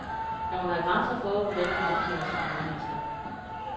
Der må være grænser for, hvordan man omtaler sine medmennesker.